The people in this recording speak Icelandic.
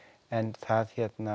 en það